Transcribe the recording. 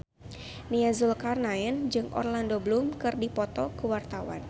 Nia Zulkarnaen jeung Orlando Bloom keur dipoto ku wartawan